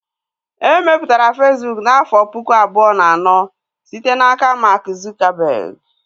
E mepụtara Fesbụụk n'afọ pụkụ abụọ na anọ site n'aka Mark Zuckerberg